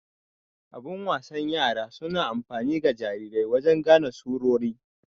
Abun wasan yara suna amfani ga jarirai wajen gane surori.